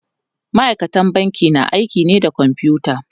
ma'aikatan banki na aiki ne da kwamfuta